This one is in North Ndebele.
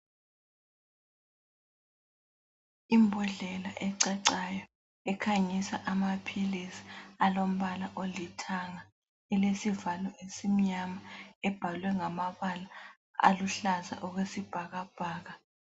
Imbodlela ecacayo ekhanyisa amaphilisi, alombala olithanga ,elesivalo esimnyama ,ebhalwe ngamabala aluhlaza okwesibhakabhaka.